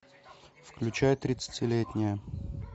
включай тридцатилетняя